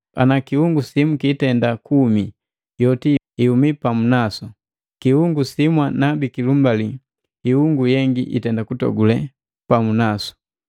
Ana kiungu simu kitenda kuumi yoti ihumii pamu nasu. Kiungu simwa nabikilumbali hiungu yengi itenda kutogule pamu nasu.